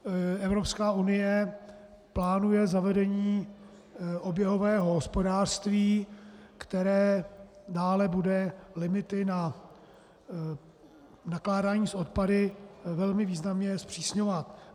Evropská unie plánuje zavedení oběhového hospodářství, které dále bude limity na nakládání s odpady velmi významně zpřísňovat.